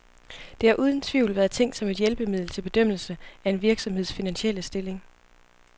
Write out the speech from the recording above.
Det har uden tvivl været tænkt som et hjælpemiddel til bedømmelse af en virksomheds finansielle stilling.